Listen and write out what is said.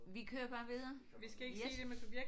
Vi kører bare videre? Yes